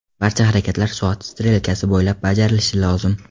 Barcha harakatlar soat strelkasi bo‘ylab bajarilishi lozim.